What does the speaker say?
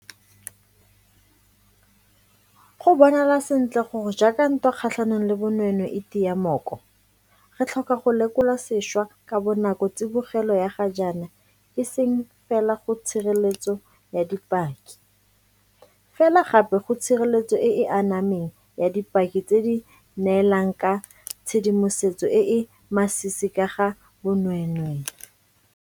Go bonala sentle gore jaaka ntwa kgatlhanong le bonweenwee e tia mooko, re tlhoka go lekola sešwa ka bonako tsibogelo ya ga jaana e seng fela go tshireletso ya dipaki, fela gape go tshireletso e e anameng ya dipaki tse di neelang ka tshedimosetso e e masisi ka ga bonweenwee.